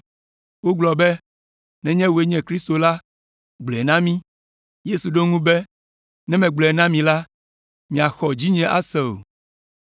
Wogblɔ be, “Nenye wòe nye Kristo la, gblɔe na mí.” Yesu ɖo eŋu be, “Ne megblɔe na mi la, miaxɔ dzinye ase o,